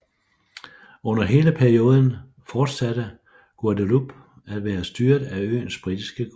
Under hele perioden fortsatte Guadeloupe at være styret af øens britiske guvernør